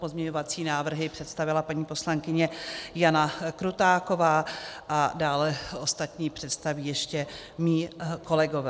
Pozměňovací návrhy představila paní poslankyně Jana Krutáková a dále ostatní představí ještě mí kolegové.